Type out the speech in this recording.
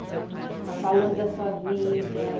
Está falando da sua vida.